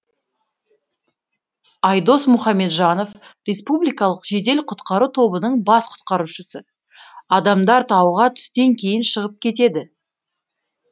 айдос мұхамеджанов республикалық жедел құтқару тобының бас құтқарушысы адамдар тауға түстен кейін шығып кетеді